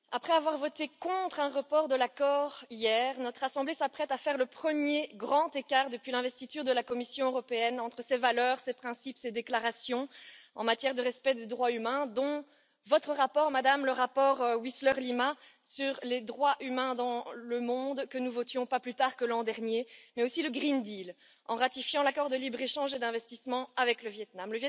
Madame la Présidente, après avoir voté contre un report de l'accord hier, notre assemblée s'apprête à faire le premier grand écart depuis l'investiture de la Commission européenne entre ses valeurs, ses principes, ses déclarations en matière de respect des droits humains dont votre rapport, Madame, le rapport Wiseler Lima sur les droits humains dans le monde, que nous votions pas plus tard que l'an dernier mais aussi le pacte vert, en ratifiant l'accord de libre échange et d'investissement avec le Viêt Nam.